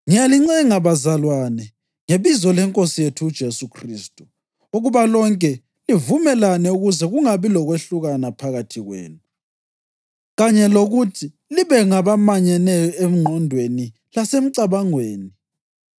Ngiyalincenga bazalwane, ngebizo leNkosi yethu uJesu Khristu, ukuba lonke livumelane ukuze kungabi lokwehlukana phakathi kwenu kanye lokuthi libe ngabamanyeneyo engqondweni lasemcabangweni.